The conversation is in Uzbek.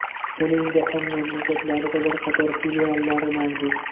Uning jahon mamlakatlarida bir qator filiallari mavjud.